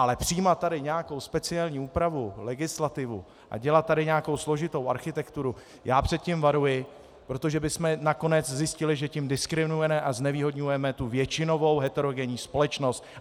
Ale přijímat tady nějakou speciální úpravu, legislativu a dělat tady nějakou složitou architekturu, já před tím varuji, protože bychom nakonec zjistili, že tím diskriminujeme a znevýhodňujeme většinovou heterogenní společnost.